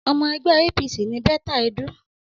Ọmọ ẹgbẹ́ APC ni Betta Edu.